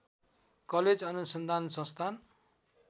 college अनुसन्धान संस्थान